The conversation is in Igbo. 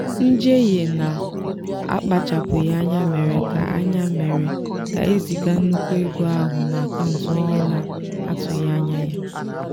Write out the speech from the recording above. njehie na-akpachapụghị anya mere ka anya mere ka eziga nnukwu ego ahụ n'akaụntụ onye na-atụghị anya ya.